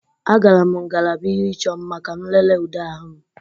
Agara m ngalaba ihe ịchọ mma ka m lelee ude ahụ m